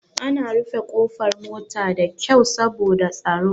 Ana rufe ƙofar mota da kyau saboda tsaro.